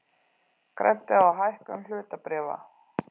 Græddi á hækkun hlutabréfa